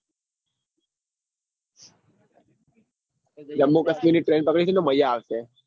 જાંબુ કાશ્મીર ની train પકડીશુ તો મજા આવશે.